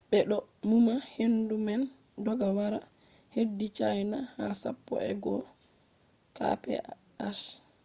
be do numa hendu man dogga wara hedi china ha sappo e go’o kph